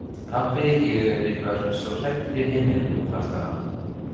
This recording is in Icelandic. Pabbi, ég er eitthvað svo hræddur í heiminum, kvartar hann.